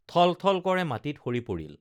ঠল ঠল কৰে মাটিত সৰি পৰিল